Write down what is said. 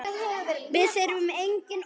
Við þurfum engin orð.